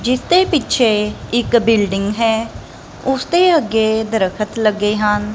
ਜਿਸ ਦੇ ਪਿੱਛੇ ਇੱਕ ਬਿਲਡਿੰਗ ਹੈ ਉਸਦੇ ਅੱਗੇ ਦਰਖਤ ਲੱਗੇ ਹਨ।